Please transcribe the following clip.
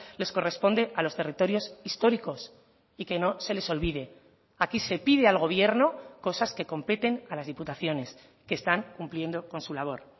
les corresponde a los territorios históricos y que no se les olvide aquí se pide al gobierno cosas que competen a las diputaciones que están cumpliendo con su labor